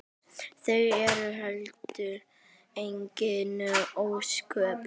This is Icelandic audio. Það eru heldur engin ósköp.